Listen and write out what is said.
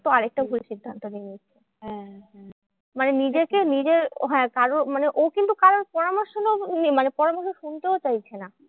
তো আরেকটা ভুল সিদ্ধান্ত নিয়ে নিচ্ছে। মানে নিজেকে নিজের হ্যাঁ কারো মানে ও কিন্তু কারোর পরামর্শ মানে পরামর্শ শুনতেও চাইছে না।